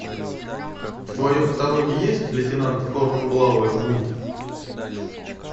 в твоем каталоге есть лейтенант хорнблауэр бунт